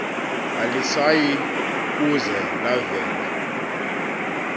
alisayi kuze lavela